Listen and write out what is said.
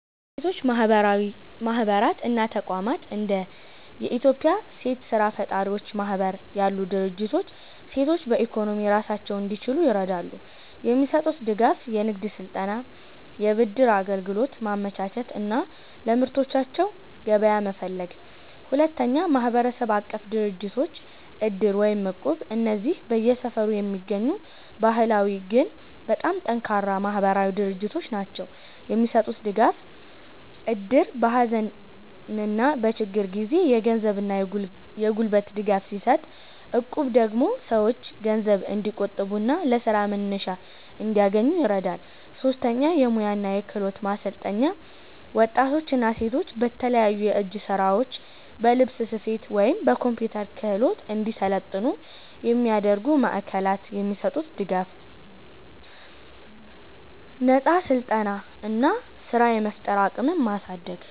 1. የሴቶች ማህበራት እና ተቋማት እንደ የኢትዮጵያ ሴት ስራ ፈጣሪዎች ማህበር ያሉ ድርጅቶች ሴቶች በኢኮኖሚ ራሳቸውን እንዲችሉ ይረዳሉ። የሚሰጡት ድጋፍ፦ የንግድ ስልጠና፣ የብድር አገልግሎት ማመቻቸት እና ለምርቶቻቸው ገበያ መፈለግ። 2. ማህበረሰብ-አቀፍ ድርጅቶች (እድር እና እቁብ) እነዚህ በየሰፈሩ የሚገኙ ባህላዊ ግን በጣም ጠንካራ ማህበራዊ ድርጅቶች ናቸው። የሚሰጡት ድጋፍ፦ እድር በሀዘንና በችግር ጊዜ የገንዘብና የጉልበት ድጋፍ ሲሰጥ፣ እቁብ ደግሞ ሰዎች ገንዘብ እንዲቆጥቡና ለስራ መነሻ እንዲያገኙ ይረዳል። 3. የሙያ እና የክህሎት ማሰልጠኛዎች ወጣቶችና ሴቶች በተለያዩ የእጅ ስራዎች፣ በልብስ ስፌት ወይም በኮምፒውተር ክህሎት እንዲሰለጥኑ የሚያደርጉ ማዕከላት። የሚሰጡት ድጋፍ፦ ነፃ ስልጠና እና ስራ የመፍጠር አቅምን ማሳደግ።